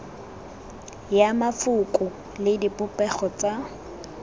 ya mafoko le dipopego tsa